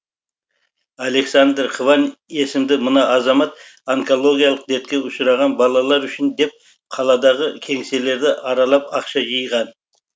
александр хван есімді мына азамат онкологиялық дертке ұшыраған балалар үшін деп қаладағы кеңселерді аралап ақша жинаған